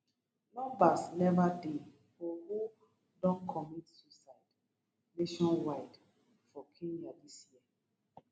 numbers neva dey for who don commit suicides nationwide for kenya dis year